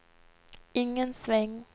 ingen sväng